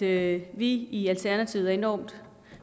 at vi i alternativet er enormt